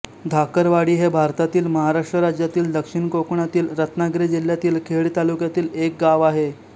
धाकरवाडी हे भारतातील महाराष्ट्र राज्यातील दक्षिण कोकणातील रत्नागिरी जिल्ह्यातील खेड तालुक्यातील एक गाव आहे